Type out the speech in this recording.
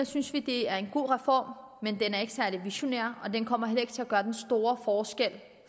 synes at det er en god reform men den er ikke særlig visionær og den kommer heller ikke til at gøre den store forskel